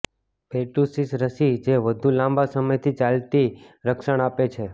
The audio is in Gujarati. પેર્ટુસિસ રસી જે વધુ લાંબા સમયથી ચાલતી રક્ષણ આપે છે